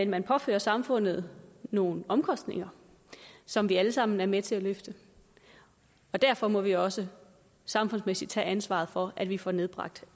man påfører samfundet nogle omkostninger som vi alle sammen er med til at løfte derfor må vi også samfundsmæssigt tage ansvaret for at vi får nedbragt